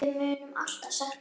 Við munum alltaf sakna hennar.